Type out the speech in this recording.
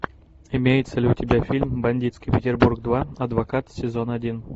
имеется ли у тебя фильм бандитский петербург два адвокат сезон один